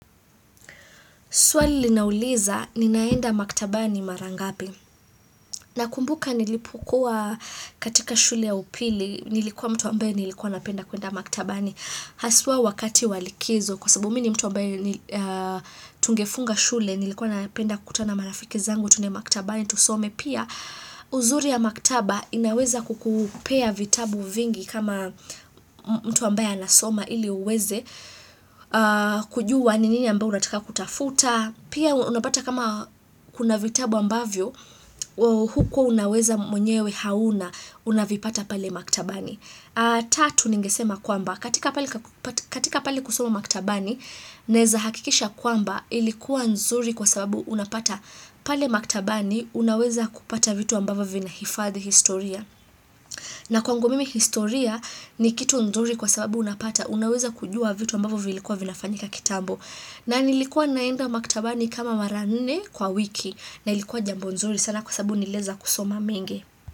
Swali linauliza, ninaenda maktabani marangapi. Nakumbuka nilipokua katika shule ya upili, nilikuwa mtu ambaye nilikuwa napenda kuenda maktabani. Haswa wakati wa likizo, kwa sababu mi ni mtu ambaye tungefunga shule, nilikuwa napenda kutana marafiki zangu, tuende maktabani, tusome. Pia, uzuri ya maktaba inaweza kukupea vitabu vingi kama mtu ambaye anasoma ili uweze kujua ni nini ambayo unataka kutafuta. Pia unapata kama kuna vitabu ambavyo, hukuwa unaweza mwenyewe hauna, unavipata pale maktabani. Tatu ningesema kwamba, katika pali kusoma maktabani, naeza hakikisha kwamba ilikuwa nzuri kwa sababu unapata pale maktabani, unaweza kupata vitu ambavyo vinahifadhi historia. Na kwangu mimi historia ni kitu nzuri kwa sababu unapata, unaweza kujua vitu ambavyo vilikuwa vinafanyika kitambo. Na nilikuwa naenda maktabani kama maranne kwa wiki na ilikuwa jambo nzuri sana kwa sababu nilieza kusoma mengi.